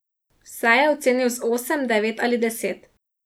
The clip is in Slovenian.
Vse je ocenil z osem, devet ali deset.